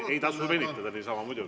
Ei tasu niisama venitada, muidugi.